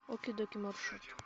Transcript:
оки доки маршрут